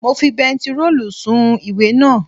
Mo fi bentiróòlù sun ìwé naa